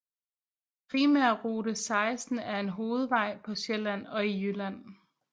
Primærrute 16 er en hovedvej på Sjælland og i Jylland